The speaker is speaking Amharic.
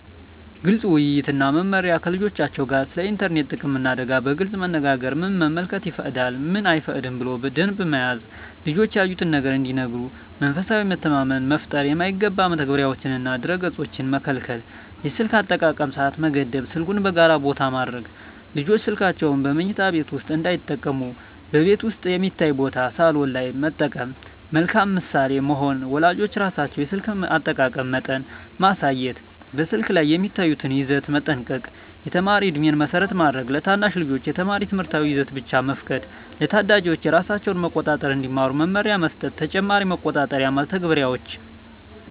ግልፅ ውይይት እና መመሪያ ከልጆቻቸው ጋር ስለ ኢንተርኔት ጥቅምና አደጋ በግልፅ መነጋገር ምን መመልከት ይፈቀዳል፣ ምን አይፈቀድም ብሎ ደንብ መያዝ ልጆች ያዩትን ነገር እንዲነግሩ መንፈሳዊ መተማመን መፍጠር የማይገባ መተግበሪያዎችንና ድረ-ገፆችን መከልከል የስልክ አጠቃቀም ሰዓት መገደብ ስልኩን በጋራ ቦታ ማድረግ ልጆች ስልካቸውን በመኝታ ቤት ውስጥ እንዳይጠቀሙ በቤት ውስጥ የሚታይ ቦታ (ሳሎን) ላይ መጠቀም መልካም ምሳሌ መሆን ወላጆች ራሳቸው የስልክ አጠቃቀም መጠን ማሳየት በስልክ ላይ የሚያዩትን ይዘት መጠንቀቅ የተማሪ ዕድሜን መሰረት ማድረግ ለታናሽ ልጆች የተማሪ ትምህርታዊ ይዘት ብቻ መፍቀድ ለታዳጊዎች ራሳቸውን መቆጣጠር እንዲማሩ መመሪያ መስጠት ተጨማሪ መቆጣጠሪያ መተግበሪያዎች